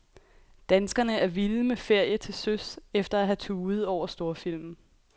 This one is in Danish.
Danskerne er vilde med ferie til søs efter at have tudet over storfilmen.